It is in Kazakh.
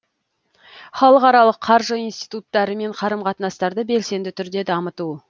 халықаралық қаржы институттарымен қарым қатынастарды белсенді түрде дамыту